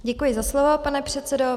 Děkuji za slovo, pane předsedo.